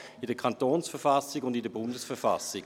Es steht in der Kantons- und in der Bundesverfassung.